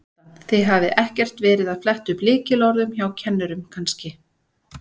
Kjartan: Þið hafið ekkert verið að fletta upp lykilorðum hjá kennurum kannski?